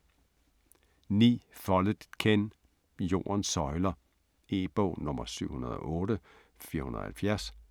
9. Follett, Ken: Jordens søjler E-bog 708470